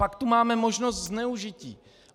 Pak tu máme možnost zneužití.